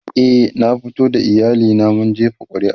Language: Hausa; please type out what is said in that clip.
e na fito da iyali na mun jefa ƙuri'a